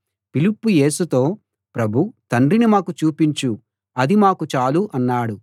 ఫిలిప్పు యేసుతో ప్రభూ తండ్రిని మాకు చూపించు అది మాకు చాలు అన్నాడు